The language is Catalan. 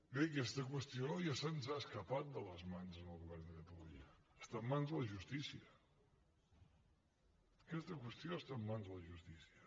bé aquesta qüestió ja se’ns ha escapat de les mans al govern de catalunya està en mans de la justícia aquesta qüestió està en mans de la justícia